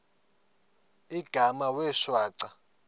igama wee shwaca